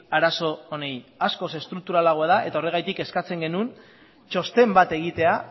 arazo honi askoz estrukturalagoa da eta horregatik eskatzen genuen txosten bat egitea